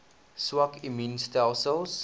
swak immuun stelsels